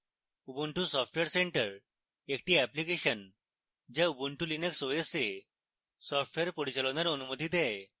ubuntu software centre একটি application যা ubuntu linux os এ সফটওয়্যার পরিচালনার অনুমতি দেয়